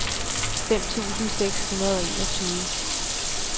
fem tusind seks hundrede og enogtyve